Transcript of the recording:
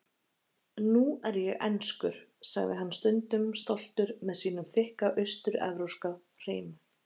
Nú er ég enskur, sagði hann stundum stoltur með sínum þykka austur-evrópska hreim.